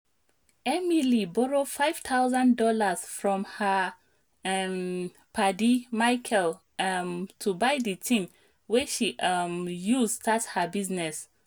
emily borrow five thousand dollars from her um paddy michael um to buy the thing wey she um use start her business